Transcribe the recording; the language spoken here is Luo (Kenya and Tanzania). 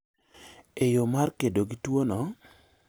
e yo mar kedo gi tuo no